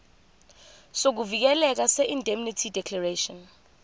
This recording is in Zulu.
sokuvikeleka seindemnity declaration